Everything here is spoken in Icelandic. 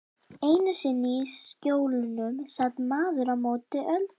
Einu sinni í Skjólunum sat maðurinn á móti Öldu.